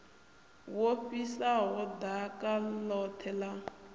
wo fhisaho ḓaka ḽoṱhe ḽa